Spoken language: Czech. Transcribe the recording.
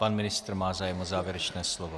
Pan ministr má zájem o závěrečné slovo.